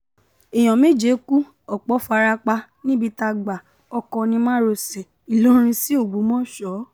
èèyàn méje kú ọ̀pọ̀ fara pa níbi tágbá ọkọ̀ ní márosẹ̀ ìlọrin sí ògbómọṣọ